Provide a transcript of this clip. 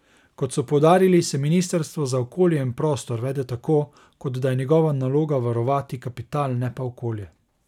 Kot so poudarili, se ministrstvo za okolje in prostor vede tako, kot da je njegova naloga varovati kapital, ne pa okolje.